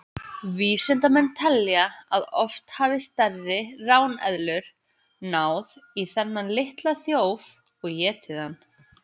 Vísindamenn telja að oft hafi stærri ráneðlur náð í þennan litla þjóf og étið hann.